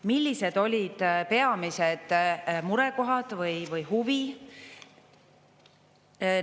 Millised olid peamised murekohad või huvi?